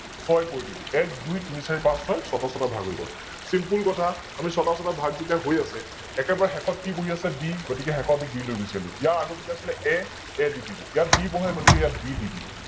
ছয় কৰি দিলো । এক দুই তিনি চাৰি পাচ ছয়, ছয়তা ছয়তা ভাগ হৈ গল । Simple কথা আমি ছয়তা ছয়তা ভাগ যেতিয়া হৈ আছে একেবাৰে শেষত কি বঢি আছে, B গতিকে শেষৰটো B লৈ গুছি আহিলো, ইয়াৰ আগৰটো কি আছিলে A, A দি দিলো ইয়াত B বঢে গতিকে B দি দিলো